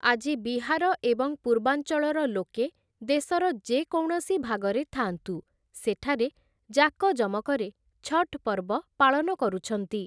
ଆଜି ବିହାର ଏବଂ ପୂର୍ବାଞ୍ଚଳର ଲୋକେ ଦେଶର ଯେକୌଣସି ଭାଗରେ ଥାଆନ୍ତୁ, ସେଠାରେ ଯାକଯମକରେ ଛଠ୍ ପର୍ବ ପାଳନ କରୁଛନ୍ତି ।